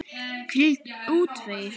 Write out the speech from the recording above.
Hvílík útreið!